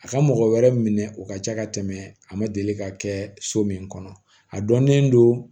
A ka mɔgɔ wɛrɛ minɛ o ka ca ka tɛmɛ a ma deli ka kɛ so min kɔnɔ a dɔnnen don